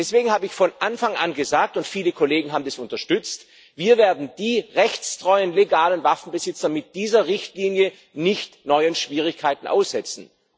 Deswegen habe ich von Anfang an gesagt und viele Kollegen haben dies unterstütz Wir werden die rechtstreuen legalen Waffenbesitzer mit dieser Richtlinie nicht neuen Schwierigkeiten aussetzen.